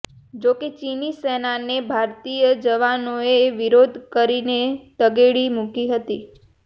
જોકે ચીની સેનાને ભારતીય જવાનોએ વિરોધ કરીને તગેડી મુકી હતી